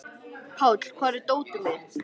Páll, hvar er dótið mitt?